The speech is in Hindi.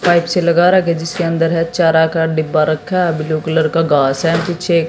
पाईप से लगा रखा जिसके अंदर है चारा का डिब्बा रखा है ब्लू कलर का घास है पीछे--